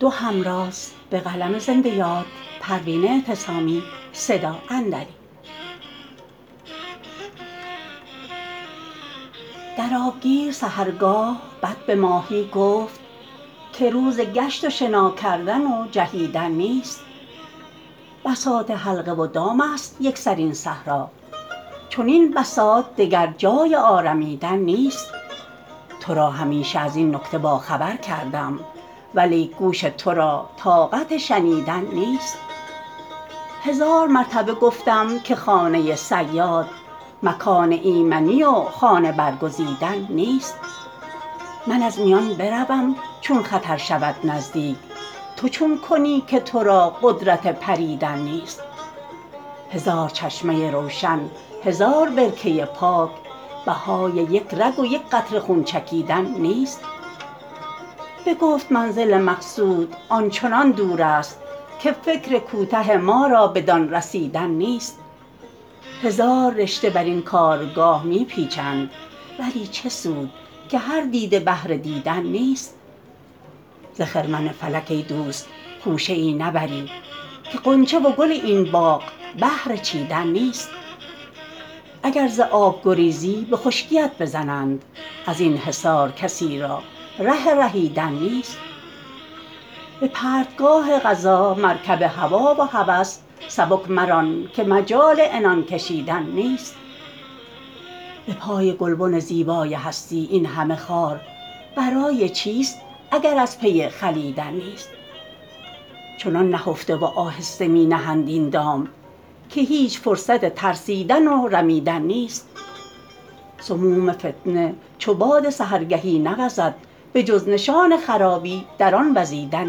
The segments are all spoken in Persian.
در آبگیر سحرگاه بط به ماهی گفت که روز گشت و شنا کردن و جهیدن نیست بساط حلقه و دامست یکسر این صحرا چنین بساط دگر جای آرمیدن نیست ترا همیشه ازین نکته با خبر کردم ولیک گوش ترا طاقت شنیدن نیست هزار مرتبه گفتم که خانه صیاد مکان ایمنی و خانه برگزیدن نیست من از میان بروم چون خطر شود نزدیک تو چون کنی که ترا قدرت پریدن نیست هزار چشمه روشن هزار برکه پاک بهای یک رگ و یکقطره خون چکیدن نیست بگفت منزل مقصود آنچنان دور است که فکر کوته ما را بدان رسیدن نیست هزار رشته برین کارگاه می پیچند ولی چه سود که هر دیده بهر دیدن نیست ز خرمن فلک ایدوست خوشه ای نبری که غنچه و گل این باغ بهر چیدن نیست اگر ز آب گریزی بخشکیت بزنند ازین حصار کسی را ره رهیدن نیست به پرتگاه قضا مرکب هوی و هوس سبک مران که مجال عنان کشیدن نیست بپای گلبن زیبای هستی این همه خار برای چیست اگر از پی خلیدن نیست چنان نهفته و آهسته می نهند این دام که هیچ فرصت ترسیدن و رمیدن نیست سموم فتنه چو باد سحرگهی نسوزد بجز نشان خرابی در آن وزیدن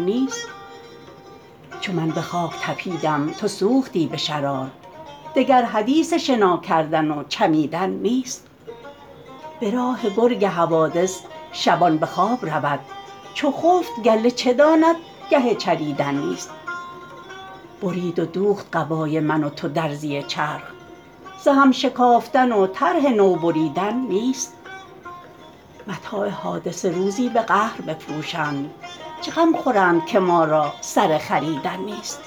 نیست چو من بخاک تپیدم تو سوختی بشرار دگر حدیث شنا کردن و چمیدن نیست براه گرگ حوادث شبان بخواب رود چو خفت گله چه داند گه چریدن نیست برید و دوخت قبای من و تو درزی چرخ ز هم شکافتن و طرح نو بریدن نیست متاع حادثه روزی بقهر بفروشند چه غم خورند که ما را سر خریدن نیست